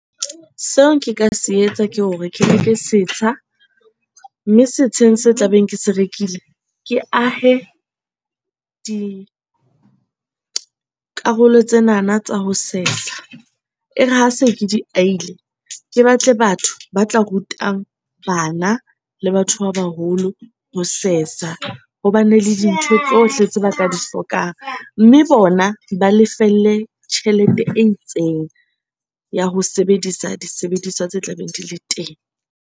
Seo nka se etsa ke hore ke reke setsha mme setsheng se tla beng ke se rekile ke ahe dikarolo tsenana tsa ho sesa, e re ha se ke di ahile. Ke batle batho ba tla ruta bana le batho ba baholo ho sesa ho bane le dintho tsohle tse ba tla di hlokang. Mme bona ba lefelle tjhelete e itseng ya ho sebedisa disebediswa tse tla beng di le teng.